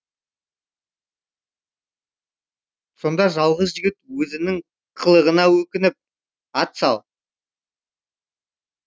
сонда жалғыз жігіт өзінің қылығына өкініп ат сал